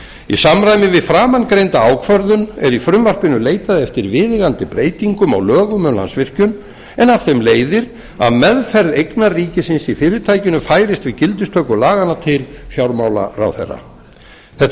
í samræmi við framangreinda ákvörðun er í frumvarpinu leitað eftir viðeigandi breytingum á lögum um landsvirkjun en af þeim leiðir að meðferð eigna ríkisins í fyrirtækinu færist við gildistöku laganna til fjármálaráðherra þetta